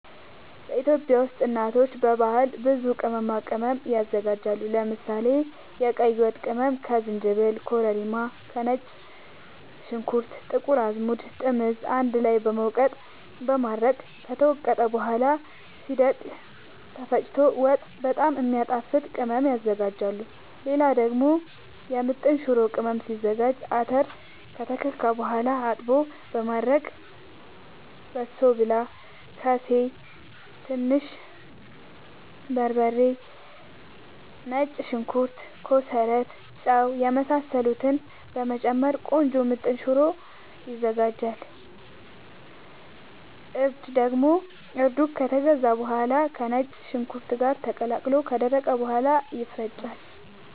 ኢትዮጵያ ውስጥ እናቶች በባህል ብዙ ቅመማ ቅመም ያዘጋጃሉ። ለምሳሌ፦ የቀይ ወጥ ቅመም ከዝንጅብል፣ ከኮረሪማ፣ ከነጭ ሽንኩርት፣ ጥቁር አዝሙድ፣ ጥምዝ አንድ ላይ በመውቀጥ በማድረቅ ከተወቀጠ በኋላ ሲደርቅ ተፈጭቶ ወጥ በጣም የሚያጣፋጥ ቅመም ያዝጋጃሉ። ሌላ ደግሞ የምጥን ሽሮ ቅመም ሲዘጋጅ :- አተር ከተከካ በኋላ አጥቦ በማድረቅ በሶብላ፣ ከሴ፣ ትንሽ በርበሬ፣ ነጭ ሽንኩርት፣ ኮሰረት፣ ጫው የመሳሰሉትን በመጨመር ቆንጆ ምጥን ሽሮ ይዘጋጃል። እርድ ደግሞ እርዱ ከተገዛ በኋላ ከነጭ ሽንኩርት ጋር ተቀላቅሎ ከደረቀ በኋላ ይፈጫል።